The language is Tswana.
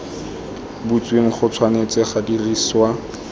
butsweng go tshwanetse ga dirisiwa